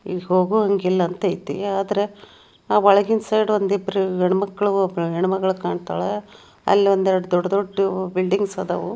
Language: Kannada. ಇಲ್ಲಿ ಹೋಗುವಂಗಿಲ್ಲ ಅಂತ ಐತಿ ಆದ್ರೆ ಆ ವಳಂಗಿಂ ಸೈಡ್ ಒಂದ್ ಇಬ್ರು ಗಂಡ ಮಕ್ಳು ಒಬ್ಳ್ ಹೆಣ್ ಮಗಳು ಕಾಣುತ್ತವೆ ಅಲ್ಲಿ ಒಂದ್ ಎರಡ್ ದೊಡ್ಡ ದೊಡ್ಡ ಬಿಲ್ಡಿಂಗ್ಸ್ ಆದವು